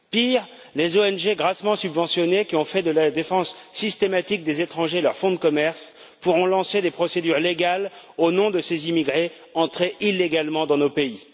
Pire, les ONG, grassement subventionnées, qui ont fait de la défense systématique des étrangers leur fonds de commerce, pourront lancer des procédures légales au nom de ces immigrés entrés illégalement dans nos pays.